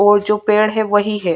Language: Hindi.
और जो पेड़ है वही हैं।